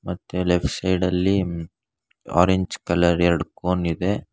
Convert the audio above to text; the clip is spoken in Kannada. ಮತ್ತೆ ಲೆಫ್ಟ್ ಸೈಡ್ ಅಲ್ಲಿ ಆರೆಂಜ್ ಕಲರ್ ಎರಡು ಕೋನ್ ಇದೆ.